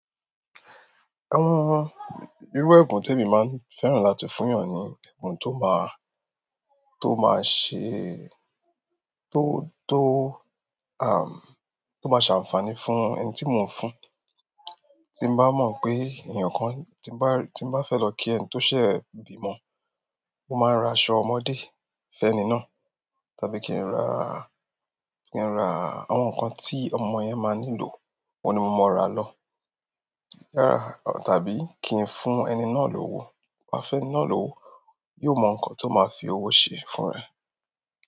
Irú ẹ̀bùn tí èmi máa ń fẹ́ràn láti fún èèyàn ni ẹ̀bùn tó máa ṣe ànfààní fún ẹni tí mò ń fún. Tí bá mọ̀ pé ènìyàn kan, tí bá, tí bá fẹ́ lọ kí ẹni tó ṣẹ̀ bímo, mo máa ń ra aṣọ ọmọdé f'ẹ́ni náà, tàbí kí n ra, kí n ra àwọn nǹkan tí ọmọ yẹn máa nílò, oun ni mo máa ra lọ. Rárá, tàbí kí n fún ẹni náà lówó. Tin bá fẹ́ni náà lówó, yóò mọ nǹkan tó máa fi owó ṣe fún ẹ.